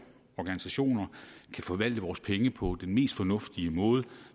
organisationer kan forvalte vores penge på den mest fornuftige måde